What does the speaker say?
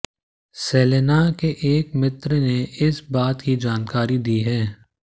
Selena के एक मित्र ने इस बात की जानकारी दी है